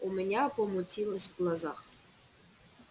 у меня помутилось в глазах